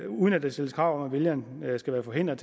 uden at der stilles krav om at vælgerne skal være forhindret